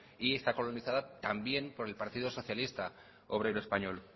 y está colonizada también por el partido socialista obrero español